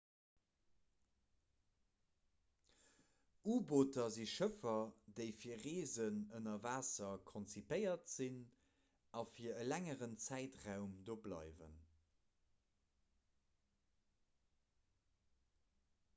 u-booter si schëffer déi fir reesen ënner waasser konzipéiert sinn a fir e längeren zäitraum do bleiwen